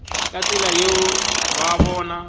ka tsela yeo ba bona